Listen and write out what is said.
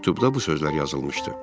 Məktubda bu sözlər yazılmışdı: